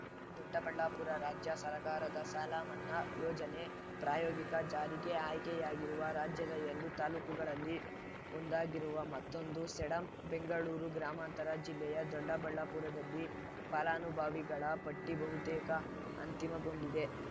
ದೊಡ್ಡಬಳ್ಳಾಪುರ ರಾಜ್ಯ ಸರ್ಕಾರದ ಸಾಲ ಮನ್ನಾ ಯೋಜನೆ ಪ್ರಾಯೋಗಿಕ ಜಾರಿಗೆ ಆಯ್ಕೆಯಾಗಿರುವ ರಾಜ್ಯದ ಎರಡು ತಾಲೂಕುಗಳಲ್ಲಿ ಒಂದಾಗಿರುವ ಮತ್ತೊಂದು ಸೇಡಂ ಬೆಂಗಳೂರು ಗ್ರಾಮಾಂತರ ಜಿಲ್ಲೆಯ ದೊಡ್ಡಬಳ್ಳಾಪುರದಲ್ಲಿ ಫಲಾನುಭವಿಗಳ ಪಟ್ಟಿಬಹುತೇಕ ಅಂತಿಮಗೊಂಡಿದೆ